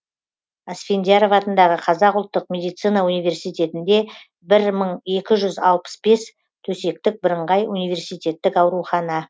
асфендияров атындағы қазақ ұлттық медицина университетінде бір мың екі жүз алпыс бес төсектік бірыңғай университеттік аурухана